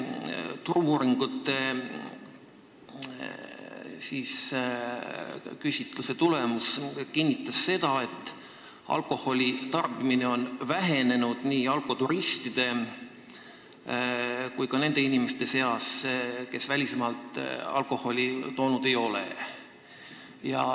Turu-uuringute tehtud küsitluse eile avaldatud tulemused kinnitavad, et alkoholi tarbimine on vähenenud nii nn alkoturistide kui ka nende inimeste seas, kes välismaalt alkoholi toonud ei ole.